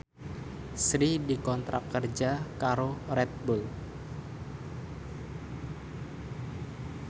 Sri dikontrak kerja karo Red Bull